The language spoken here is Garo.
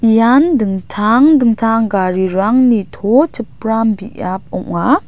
ian dingtang dingtang garirangni to chipram biap ong·a.